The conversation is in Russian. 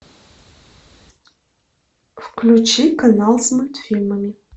включи канал с мультфильмами